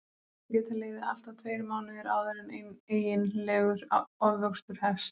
Það geta liðið allt að tveir mánuðir áður en eiginlegur ofvöxtur hefst.